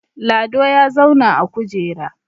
Lado ya zauna a kujera